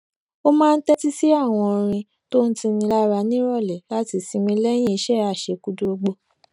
ó máa ń tétí sí àwọn orin tó ń tuni lára níròlé láti sinmi léyìn iṣé àṣekúdórógbó